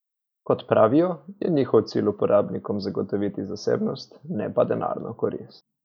Kot pravijo, je njihov cilj uporabnikom zagotoviti zasebnost, ne pa denarno korist.